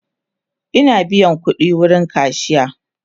Ina biyan ƙudi wurin kashiya